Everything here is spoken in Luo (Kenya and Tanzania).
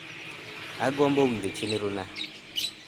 angombo winjo chenro na